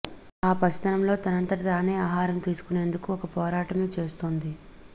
ఆ పసితనంలో తనంతట తానే ఆహారం తీసుకునేందుకు ఒక పోరాటమే చేస్తోంది